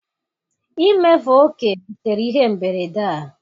imefu oke butere ihe mberede a.